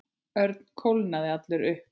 Örn kólnaði allur upp.